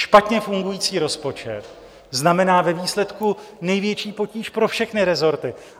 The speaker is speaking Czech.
Špatně fungující rozpočet znamená ve výsledku největší potíž pro všechny resorty.